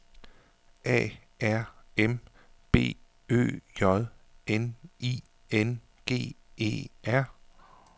A R M B Ø J N I N G E R